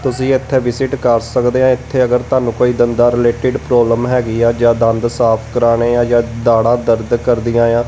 ਤੁਸੀਂ ਇੱਥੇ ਵਿਸਿਟ ਕਰ ਸਕਦੇ ਆ ਇੱਥੇ ਅਗਰ ਤੁਹਾਨੂੰ ਕੋਈ ਦੰਦਾ ਰਿਲੇਟਿਡ ਪ੍ਰੋਬਲਮ ਹੈਗੀ ਆ ਜਾਂ ਦੰਦ ਸਾਫ ਕਰਾਣੇ ਆ ਜਾਂ ਦਾੜਾ ਦਰਦ ਕਰਦੀਆਂ ਆ।